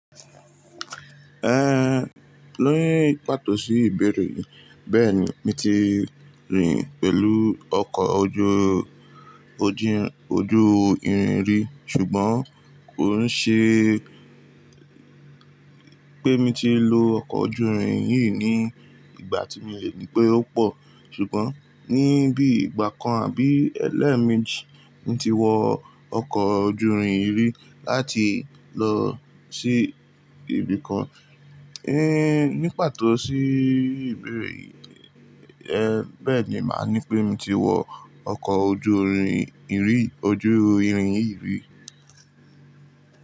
Ẹn, lórí pàtó sí ìbéèrè yìí, bẹ́ẹ̀ni mi ti rìn pẹ̀lú ọkọ̀ ojú ojin-- ojú ìrìn ìrí ṣùgbọ́n kò ṣe pé mi ti lo ọkọ̀ ojú ìrìn yìí ní ìgbà tí miolẹ̀ ní pé ó pò ṣùgbọ́n ní bí ìgbà kan àbí ẹlẹ́ẹ̀mejì mi ti wọ ọkọ̀ ojú ìrìn yirí láti lọ sí ibìkan. Ehn, ní pàtó sí ìbéèrè yìí, ẹéh bẹ́ẹ̀ni màá ní pé mi ti wọ ọkọ̀ ojú ìrìn ìrí ojú ìrìn yìí rí.